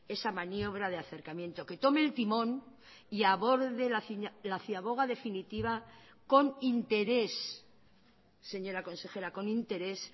esa maniobra de acercamiento que tome el timón y aborde la ciaboga definitiva con interés señora consejera con interés